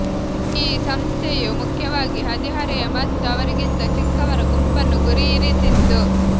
ಈ ಸಂಸ್ಥೆಯು ಮುಖ್ಯವಾಗಿ ಹದಿಹರೆಯ ಮತ್ತು ಅವರಿಗಿಂತ ಚಿಕ್ಕವರ ಗುಂಪನ್ನು ಗುರಿಯಿರಿಸಿತ್ತು